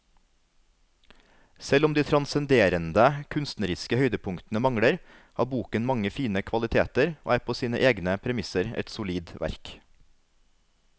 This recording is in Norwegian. Selv om de transcenderende kunstneriske høydepunktene mangler, har boken mange fine kvaliteter og er på sine egne premisser et solid verk.